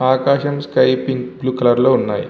ఆకాశం sky pink blue colour లో ఉన్నాయి.